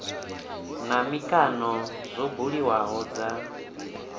na mikano zwo buliwaho dza